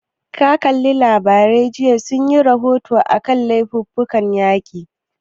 Ka kalla labarai jiya, sun yi rahoto a kan laifukan yaƙi?